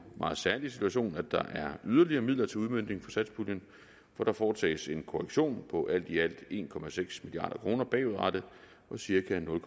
meget særlige situation at der er yderligere midler til udmøntning for satspuljen for der foretages en korrektion på alt i alt en milliard kroner bagudrettet og cirka nul